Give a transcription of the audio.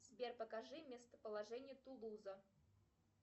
сбер покажи местоположение тулуза